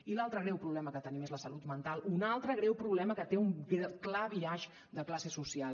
i l’altre greu problema que tenim és la salut mental un altre greu problema que té un clar biaix de classe social